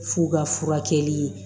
F'u ka furakɛli